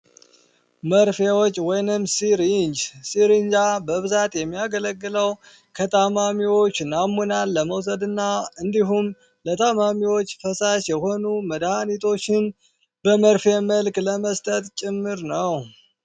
መርፌዎች ወይም ሲሪንጅ የሚያገለግለው ከታማሚዎች ናሙና ለመውሰድና እንዲሁም ለተማሪዎች የሚሆኑ መድሃኒቶችን በመርፌ መልክ ለመስጠት ጭምር ነው።